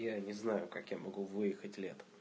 не знаю как я могу выехать